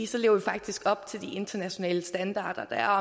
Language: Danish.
så lever vi faktisk op til de internationale standarder der er